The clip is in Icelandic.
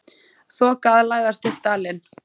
Þoka að læðast upp dalinn.